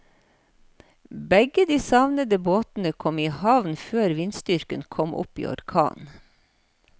Begge de savnede båtene kom i havn før vindstyrken kom opp i orkan.